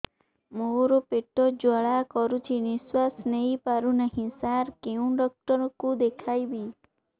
ମୋର ପେଟ ଜ୍ୱାଳା କରୁଛି ନିଶ୍ୱାସ ନେଇ ପାରୁନାହିଁ ସାର କେଉଁ ଡକ୍ଟର କୁ ଦେଖାଇବି